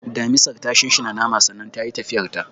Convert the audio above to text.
, Damisar ta shinshina naman sannan tayi tafiyarta.